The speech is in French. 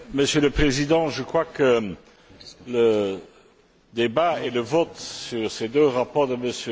Monsieur le Président, je crois que le débat et le vote sur ces deux rapports de M.